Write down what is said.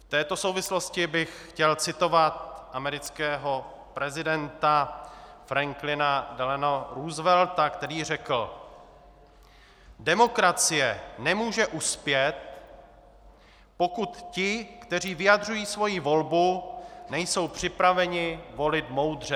V této souvislosti bych chtěl citovat amerického prezidenta Franklina Delano Roosevelta, který řekl: "Demokracie nemůže uspět, pokud ti, kteří vyjadřují svoji volbu, nejsou připraveni volit moudře."